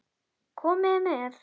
Komiði með!